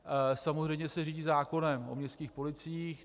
Samozřejmě se řídí zákonem o městských policiích.